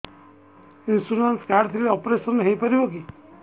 insurance card ଥିଲେ operation ହେଇପାରିବ କି